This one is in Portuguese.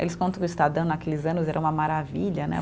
Eles contam que o Estadão naqueles anos era uma maravilha, né?